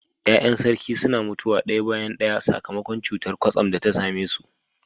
Ya’yan sarki suna mutuwa daya bayan daya sakamakon cutar kwatsam da ta same su.